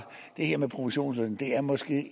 det her med provisionsløn er måske